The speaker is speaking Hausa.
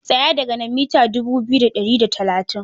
Tsaya daga nan mita dubu biyu da ɗari da talatin.